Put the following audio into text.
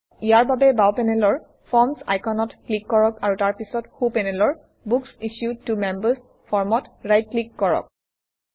ইয়াৰ বাবে বাওঁ পেনেলৰ ফৰ্মছ আইকনত ক্লিক কৰক আৰু তাৰপিছত সোঁ পেনেলৰ বুক্স ইছ্যুড ত মেম্বাৰ্ছ ফৰ্মত ৰাইট ক্লিক কৰক